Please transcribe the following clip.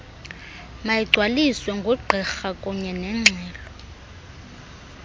mayigcwaliswe ngugqirha kunyenengxelo